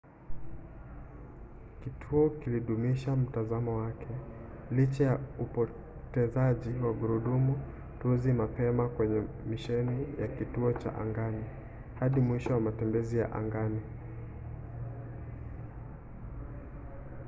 kituo kilidumisha mtazamo wake licha ya upotezaji wa gurudumu tuzi mapema kwenye misheni ya kituo cha angani hadi mwisho wa matembezi ya angani